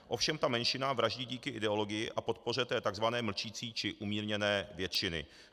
Ovšem ta menšina vraždí díky ideologii a podpoře té tzv. mlčící či umírněné většiny.